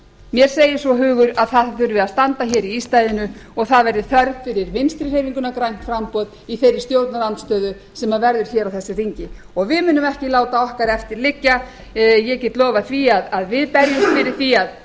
mér segir svo hugur að það þurfi að standa hér í ístaðinu og það verði þörf fyrir vinstri hreyfinguna grænt framboð í þeirri stjórnarandstöðu sem verður hér á þessu þingi við munum ekki láta okkar eftir liggja ég get lofað því að við berjumst fyrir því að